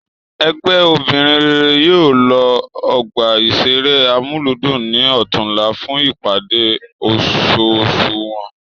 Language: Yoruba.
Ègbè obìnrin rere yóò lo ọgbà ìṣeré Amúlùúdùn ní ọ̀túnla fún ìpàdé oṣooṣù wọn